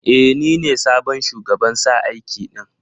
E, ni ne sabon shugaban sa aiki din.